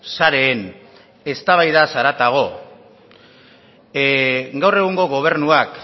sareen eztabaidaz haratago gaur egungo gobernuak